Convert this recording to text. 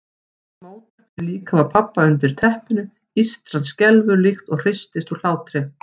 Það mótar fyrir líkama pabba undir teppinu, ístran skelfur líkt og hristist úr hlátri.